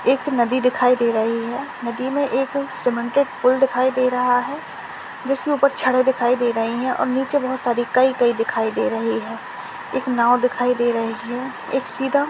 एक नदी दिखाए दे रही है नदी मे एक सीमेंट की पूल दिखाए दे रहा है जिसके उपर छड़े दिखाए दे रही है और नीचे बहुत सारी काई काई दिखाए दे रही है एक नाव दिखाए दे रही है एक सीधा--